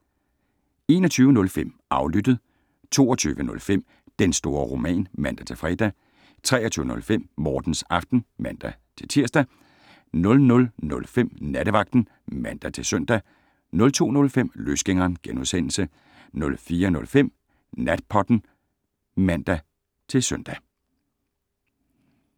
21:05: Aflyttet 22:05: Den store roman (man-fre) 23:05: Mortens Aften (man-tir) 00:05: Nattevagten (man-søn) 02:05: Løsgængeren * 04:05: Natpodden (man-søn)